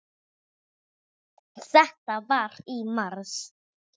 Þetta var í mars.